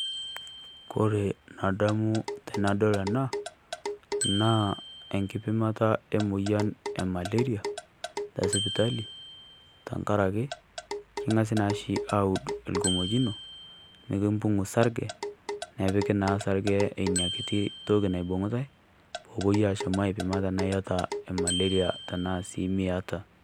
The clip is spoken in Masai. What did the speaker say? Kore nadamu tenadol ena naa enkipimata e moyian e maleria te sipitali tang'araki king'asi naashi aud lkimojino nikiimpuk isarije nepikii naa sarije enia nkiti ntoki naibung'utai poo apo atum aipima tana eeta maleria tana sii meeta.